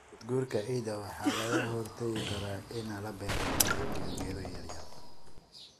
Nabaadguurka ciidda waxa lagaga hortagi karaa in la beero geedo iyo geedo yaryar.